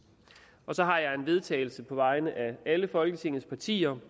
så har jeg vedtagelse på vegne af alle folketingets partier